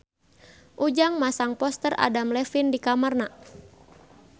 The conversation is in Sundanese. Ujang masang poster Adam Levine di kamarna